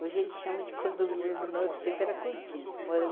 Hoje ele chama de condomínio no nosso tempo, era cortiço moramos.